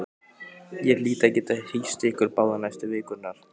Ég hlýt að geta hýst ykkur báða næstu vikurnar